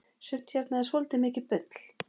sumt hérna er svoltið mikið bull